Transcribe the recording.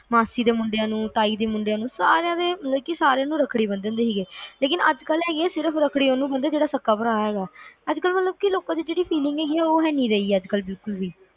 ਮਾਸੀ ਦੇ ਮੁੰਡਿਆਂ ਨੂੰ, ਤਾਈਂ ਦੇ ਮੁੰਡਿਆਂ ਨੂੰ ਸਾਰਿਆਂ ਦੇ ਰੱਖੜੀ ਬੰਨ ਦਿੰਦੇ ਸੀਗੇ ਲੇਕਿਨ ਅੱਜ ਕੱਲ ਰੱਖੜੀ ਸਿਰਫ ਓਹਨੂੰ ਬੰਨ ਦੇ ਹੈਗੇ ਜਿਹੜਾ ਸਕਾ ਭਰਾ ਹੈਗਾ